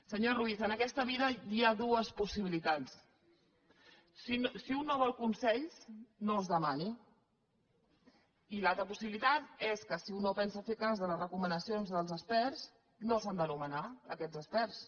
senyor ruiz en aquesta vida hi ha dues possibilitats si un no vol consells no els demani i l’altra possibilitat és que si un no pensa fer cas de les recomanacions dels experts no s’han de nomenar aquests experts